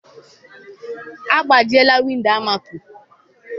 Agbajiela windo Almako